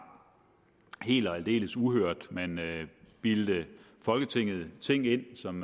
helt og aldeles uhørt man bildte folketinget ting ind som